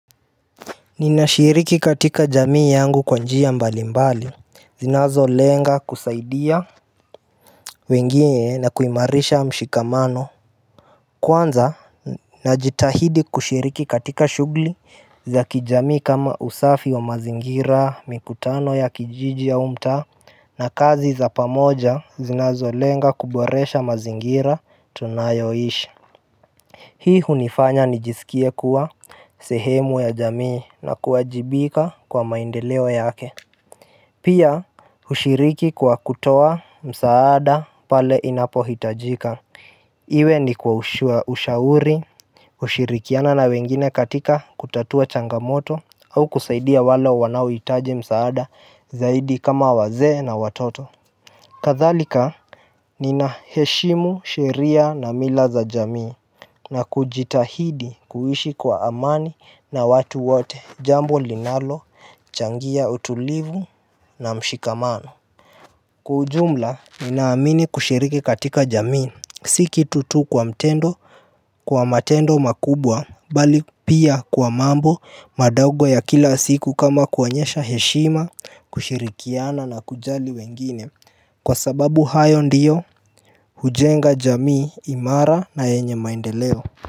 Ninashiriki katika jamii yangu kwa njia mbalimbali zinazolenga kusaidia wengine na kuimarisha mshikamano. Kwanza najitahidi kushiriki katika shughuli za kijamii kama usafi wa mazingira mikutano ya kijiji au mtaa na kazi za pamoja zinazolenga kuboresha mazingira tunayoishi. Hii hunifanya nijisikie kuwa sehemu ya jamii na kuwajibika kwa maendeleo yake. Pia hushiriki kwa kutoa msaada pale inapohitajika. Iwe ni kwa ushauri kushirikiana na wengine katika kutatua changamoto au kusaidia wale wanaohitaji msaada zaidi kama wazee na watoto. Kadhalika ninaheshimu sheria na mila za jamii na kujitahidi kuishi kwa amani na watu wote jambo linalochangia utulivu na mshikamano. Kwa ujumla ninaamini kushiriki katika jamii si kitu tu kwa mtendo kwa matendo makubwa bali pia kwa mambo madogo ya kila siku kama kuonyesha heshima kushirikiana na kujali wengine kwa sababu hayo ndiyo hujenga jamii imara na yenye maendeleo.